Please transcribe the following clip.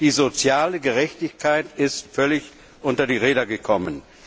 Die soziale Gerechtigkeit ist völlig unter die Räder gekommen.